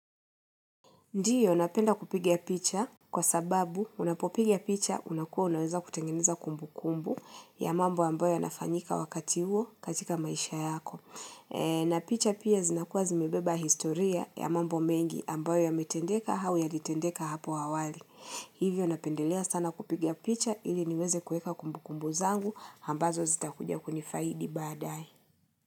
Ndiyo, napenda kupiga picha kwa sababu unapopiga picha unakuwa unaweza kutengeneza kumbu kumbu ya mambo ambayo yanafanyika wakati huo katika maisha yako. Na picha pia zinakuwa zimebeba historia ya mambo mengi ambayo ya metendeka au yalitendeka hapo awali. Hivyo, napendelea sana kupiga picha ili niweze kuweka kumbu kumbu zangu ambazo zita kuja kunifaidi baadae.